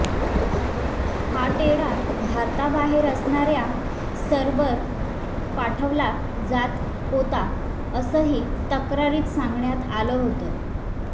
हा टेडा भारताबाहेर असणाऱ्या सर्व्हरवर पाठवला जात होता असंही तक्रारीत सांगण्यात आलं होतं